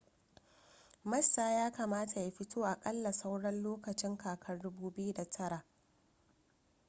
massa ya kamata ya fito aƙalla sauran lokacin kakar 2009